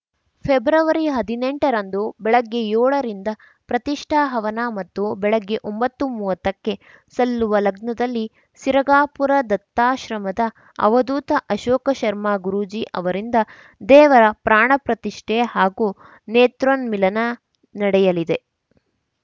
ಫೆಬ್ರವರಿಹದಿನೆಂಟರಂದು ಬೆಳಿಗ್ಗೆ ಯೋಳರಿಂದ ಪ್ರತಿಷ್ಠಾಹವನ ಮತ್ತು ಬೆಳಿಗ್ಗೆ ಒಂಬತ್ತುಮೂವತ್ತಕ್ಕೆ ಸಲ್ಲುವ ಲಗ್ನದಲ್ಲಿ ಸಿರಗಾಪುರ ದತ್ತಾಶ್ರಮದ ಅವಧೂತ ಅಶೋಕ ಶರ್ಮ ಗುರೂಜೀ ಅವರಿಂದ ದೇವರ ಪ್ರಾಣಪ್ರತಿಷ್ಠೆ ಹಾಗೂ ನೇತ್ರೋನ್‌ ಮಿಲನ ನಡೆಯಲಿದೆ